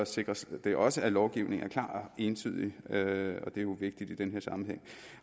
sikres det også at lovgivningen er klar og entydig og det er jo vigtigt i den her sammenhæng